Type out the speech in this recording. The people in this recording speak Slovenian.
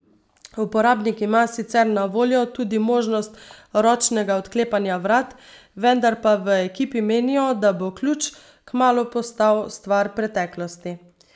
Uporabnik ima sicer na voljo tudi možnost ročnega odklepanja vrat, vendar pa v ekipi menijo, da bo ključ kmalu postal stvar preteklosti.